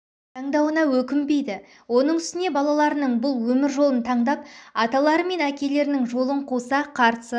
таңдауына өкінбейді оның үстіне балаларының бұл өмір жолын тандап аталары мен әкелерінің жолын қуса қарсы